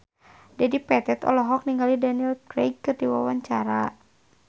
Dedi Petet olohok ningali Daniel Craig keur diwawancara